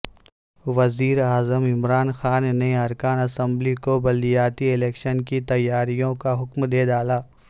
وزیراعظم عمران خان نے ارکان اسمبلی کو بلدیاتی الیکشن کی تیاریوں کا حکم دے ڈالا